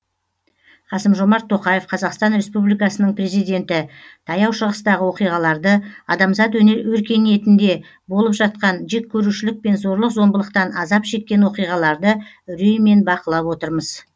қасым жомарт тоқаев қазақстан республикасының президенті таяу шығыстағы оқиғаларды адамзат өркениетінде болып жатқан жеккөрушілік пен зорлық зомбылықтан азап шеккен оқиғаларды үреймен бақылап отырмыз